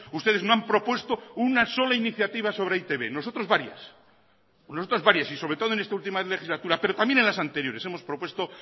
ustedes no han propuesto una sola iniciativa sobre e i te be nosotros varias y sobre todo en esta última legislatura pero también en las anteriores hemos propuesto